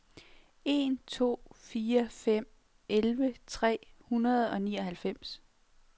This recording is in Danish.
en to fire fem elleve tre hundrede og nioghalvfems